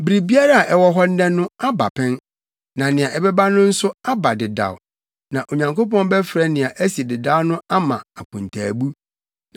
Biribiara a ɛwɔ hɔ nnɛ no, aba pɛn, na nea ɛbɛba no nso aba dedaw; na Onyankopɔn bɛfrɛ nea asi dedaw no ama akontaabu.